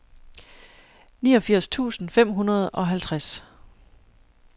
niogfirs tusind fem hundrede og halvtreds